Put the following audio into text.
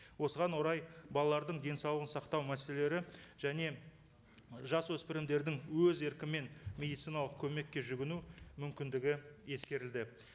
осыған орай балалардың денсаулығын сақтау мәселелері және жас өспірімдердің өз еркімен медициналық көмекке жүгіну мүмкіндігі ескерілді